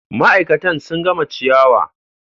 Ma'aikatan sun gama ciyawa.